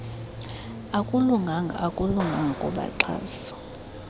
akulunganga akulunganga kubaxhasi